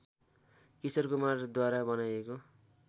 किशोर कुमारद्वारा बनाइएको